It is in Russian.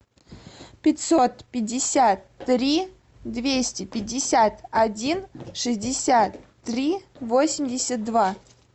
пятьсот пятьдесят три двести пятьдесят один шестьдесят три восемьдесят два